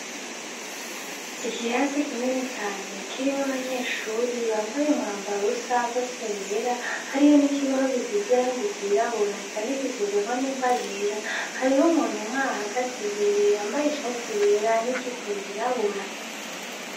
Ikirasi kinini cane kirimwo abanyeshure bambaye umwambaro usa n'ibara ryera hariho n'ikibaho gifise ibara ry’irabura candikishijeko n'ingwa yera hariho umuntu ahagaze imbere yambaye ishati yera n'ijipo yirabura.